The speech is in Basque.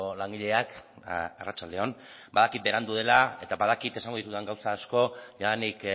langileak arratsalde on badakit berandu dela eta badakit esango ditudan gauza asko jadanik